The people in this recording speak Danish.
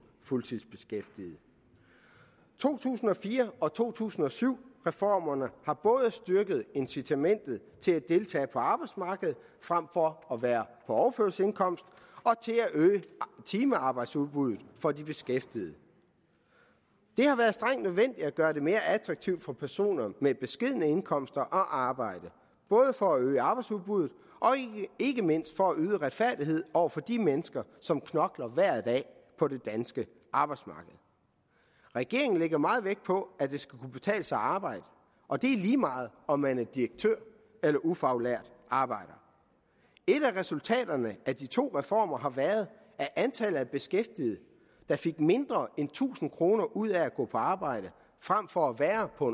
fuldtidsbeskæftigede to tusind og fire og to tusind og syv reformerne har både styrket incitamentet til at deltage på arbejdsmarkedet frem for at være på overførselsindkomst og øget timearbejdsudbuddet for de beskæftigede det har været strengt nødvendigt at gøre det mere attraktivt for personer med beskedne indkomster at arbejde både for at øge arbejdsudbuddet og ikke mindst for at yde retfærdighed over for de mennesker som knokler hver dag på det danske arbejdsmarked regeringen lægger meget vægt på at det skal kunne betale sig arbejde og det er lige meget om man er direktør eller ufaglært arbejder et af resultaterne af de to reformer har været at antallet af beskæftigede der fik mindre end tusind kroner ud af at gå på arbejde frem for at være på